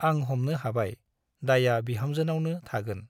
आं हमनो हाबाय दायआ बिहामजोनावनो थागोन ।